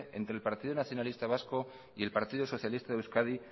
entre el partido nacionalista vasco y el partido socialista de euskadi